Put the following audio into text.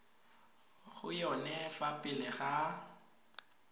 go yone fa pele ga